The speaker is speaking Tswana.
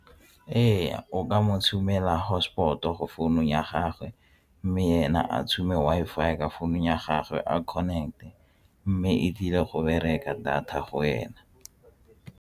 Ee, o ka mo tshumela hotspot-o go founung ya gagwe mme ena a tshuma Wi-Fi ya ka founung ya gagwe a connect-e mme e tlile go bereka data go ena.